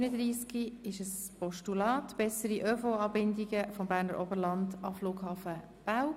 Es handelt sich um ein Postulat «Bessere ÖV-Anbindung vom Berner Oberland an den Flughafen Belp».